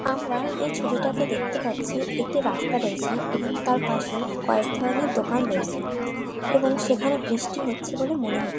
আমরা এই ছবিটাতে দেখতে পাচ্ছি একটি রাস্তা রয়েছে এবং তার পাশে কয়েকধরণের দোকান রয়েছে এবং সেখানে বৃষ্টি হচ্ছে বলে মনে হচ--